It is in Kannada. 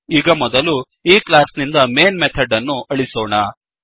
ಈಗ ಮೊದಲು ಈ ಕ್ಲಾಸ್ ನಿಂದ ಮೈನ್ ಮೆಥಡ್ ಅನ್ನು ಅಳಿಸೋಣ